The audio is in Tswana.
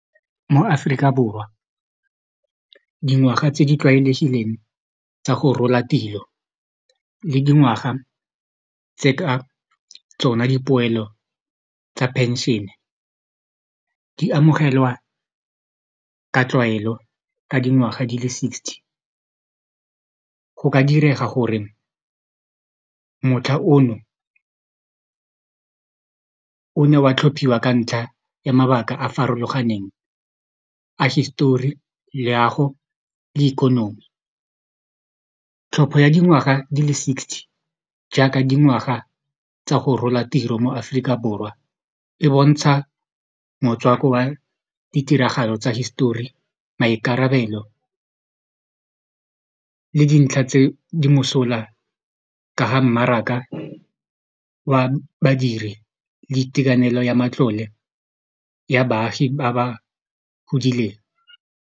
Mo Aforika Borwa dingwaga tse di tlwaelegileng tsa go rola tiro le dingwaga tse ka tsona dipoelo tsa pension-e di amogelwa ka tlwaelo ka dingwaga di le sixty go ka direga gore motlha ono o ne wa tlhophiwa ka ntlha ya mabaka a a farologaneng a hisetori leago le ikonomi tlhopho ya dingwaga di le sixty jaaka dingwaga tsa go rola tiro mo Aforika Borwa e bontsha motswako wa ditiragalo tsa hisetori maikarabelo le dintlha tse di mosola ka ga mmaraka wa badiri le itekanelo ya matlole ya baagi ba ba godileng.